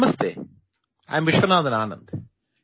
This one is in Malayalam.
നമസ്തേ ഞാൻ വിശ്വനാഥൻ ആനന്ദ്